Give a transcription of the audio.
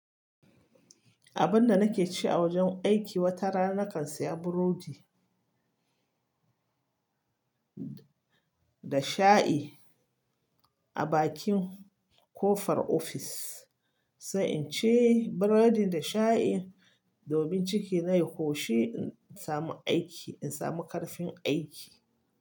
Abun da nake ci a wajen aiki, wata rana nakan saya burodi da shayi a bakin kofar ofis, sai in ci burodin da shayin domin ciki na ya ƙoshi in samu aiki, in samu ƙarfin aiki.